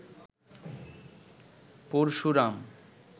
Parashuram